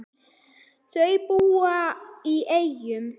Þau búa í Eyjum.